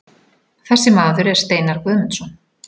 Þessi maður er Steinar Guðmundsson.